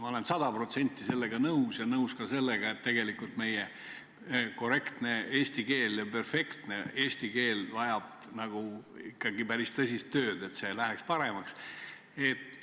Ma olen sada protsenti sellega nõus ja nõus ka sellega, et tegelikult meie korrektne ja perfektne eesti keel vajab ikkagi päris tõsist tööd, et see läheks paremaks.